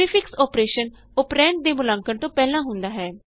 prefix operation operand ਦੇ ਮੁਲਾਂਕਣ ਤੋਂ ਪਹਿਲਾਂ ਹੁੰਦਾ ਹੈ